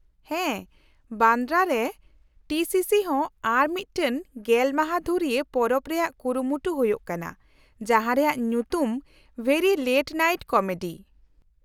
-ᱦᱮᱸ, ᱵᱟᱱᱫᱨᱟᱨᱮ T C C ᱦᱚᱸ ᱟᱨ ᱢᱤᱫᱴᱟᱝ ᱜᱮᱞ ᱢᱟᱦᱟ ᱫᱷᱩᱨᱤᱭᱟᱹ ᱯᱚᱨᱚᱵ ᱨᱮᱭᱟᱜ ᱠᱩᱨᱩᱢᱩᱴᱩ ᱦᱩᱭᱩᱜ ᱠᱟᱱᱟ ᱡᱟᱦᱟᱸ ᱨᱮᱭᱟᱜ ᱧᱩᱛᱩᱢ 'ᱵᱷᱮᱨᱤ ᱞᱮᱴ ᱱᱟᱭᱤᱴ ᱠᱚᱢᱮᱰᱤ' ᱾